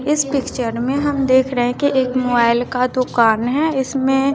इस पिक्चर में हम देख रहे हैं कि एक मोबाइल का दुकान है इसमें--